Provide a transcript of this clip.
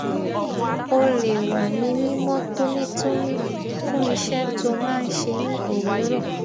ó lè wà ní mímó tónítóní fún iṣẹ tó máa ṣẹ ní òwúrọ